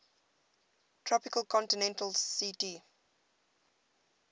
tropical continental ct